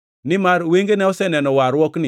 Nimar wengena oseneno warruokni,